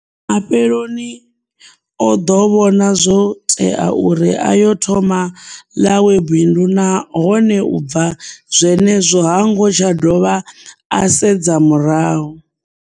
Mafheleloni o ḓo vhona zwo tea uri a yo thoma ḽawe bindu nahone u bva zwenezwo ha ngo tsha dovha a sedza murahu.